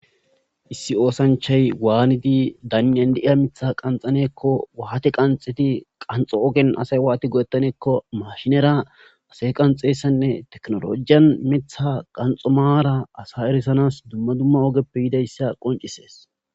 Issi osanchay daniyan deyiya mitha watti qanxxanekko qanxxidiasay watti go77etanekko technologiyan wati goyetanekko marran asas brsses.